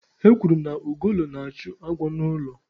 Ekwuru na ugolo na-achụ agwọ n'ụlọ.